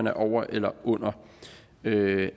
er over eller under det